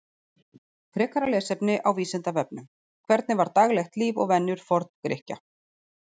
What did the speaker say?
Frekara lesefni á Vísindavefnum: Hvernig var daglegt líf og venjur Forngrikkja?